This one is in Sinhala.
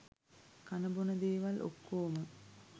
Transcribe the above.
කන බොන දේවල් ඔක්කෝම